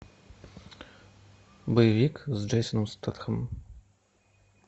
боевик с джейсоном стэтхэмом